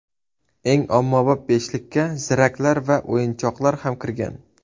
Eng ommabop beshlikka ziraklar va o‘yinchoqlar ham kirgan.